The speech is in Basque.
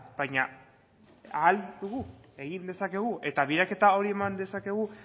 baina ahal dugu egin dezakegu eta biraketa hori eman dezakegu